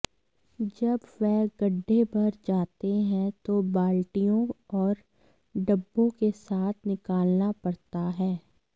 जब वह गड्ढे भर जाते हैं तो बाल्टियों और डब्बों के साथ निकालना पड़ता है